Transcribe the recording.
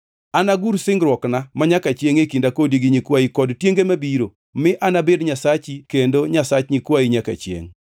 Anagur singruokna manyaka chiengʼ e kinda kodi gi nyikwayi kod tienge mabiro, mi anabed Nyasachi kendo Nyasach nyikwayi nyaka chiengʼ.